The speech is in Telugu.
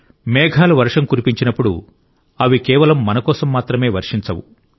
మేఘాలు వర్షం కురిపించినప్పుడు అవి కేవలం మనకోసం మాత్రమే వర్షం కురిపించవు